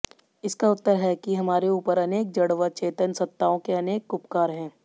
इसका उत्तर है कि हमारे ऊपर अनेक जड़ व चेतन सत्ताओं के अनेक उपकार हैं